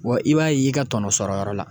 Wa i b'a ye i ka tɔnɔ sɔrɔyɔrɔ la.